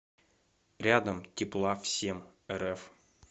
рядом тепла всемрф